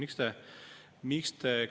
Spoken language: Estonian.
Austatud esimees!